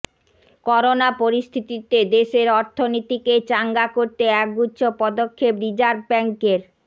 corona পরিস্থিতিতে দেশের অর্থনীতিকে চাঙ্গা করতে একগুচ্ছ পদক্ষেপ রিজার্ভ ব্যাঙ্কের